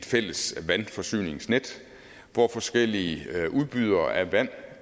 fælles vandforsyningsnet hvor forskellige udbydere af vand